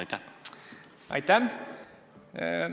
Aitäh!